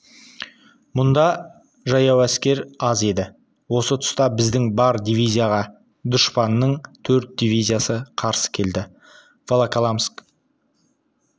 мұнда жаяу әскер аз еді осы тұста біздің бір дивизияға дұшпанның төрт дивизиясы қарсы келді волоколамск